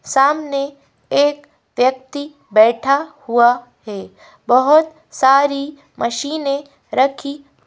सामने एक व्यक्ति बैठा हुआ है बोहोत सारी मशीनें रखी--